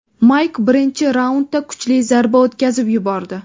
Mayk birinchi raundda kuchli zarba o‘tkazib yubordi.